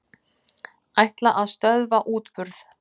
Ætla að stöðva útburð